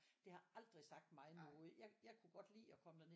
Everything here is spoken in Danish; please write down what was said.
Det har aldrig sagt mig noget jeg jeg kunne godt lide at komme derned